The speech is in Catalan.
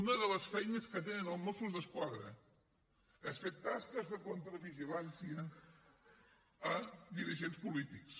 una de les feines que tenen els mossos d’esquadra és fer tasques de contravigilància a dirigents polítics